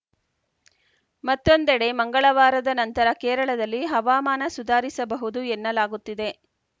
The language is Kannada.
ಮತ್ತೊಂದೆಡೆ ಮಂಗಳವಾರದ ನಂತರ ಕೇರಳದಲ್ಲಿ ಹವಾಮಾನ ಸುಧಾರಿಸಬಹುದು ಎನ್ನಲಾಗುತ್ತಿದೆ